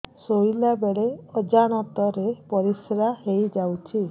ଶୋଇଲା ବେଳେ ଅଜାଣତ ରେ ପରିସ୍ରା ହେଇଯାଉଛି